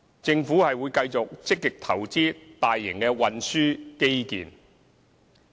政府會繼續積極投資大型運輸基建。